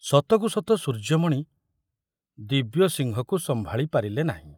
ସତକୁ ସତ ସୂର୍ଯ୍ୟମଣି ଦିବ୍ୟସିଂହକୁ ସମ୍ଭାଳି ପାରିଲେ ନାହିଁ।